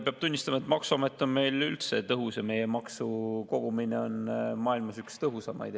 Peab tunnistama, et maksuamet on meil üldse tõhus ja meie maksukogumine on maailmas üks tõhusaimaid.